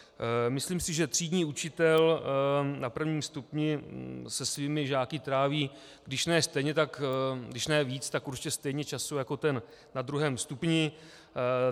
Myslím si, že třídní učitel na prvním stupni se svými žáky tráví když ne víc, tak určitě stejně času jako ten na druhém stupni.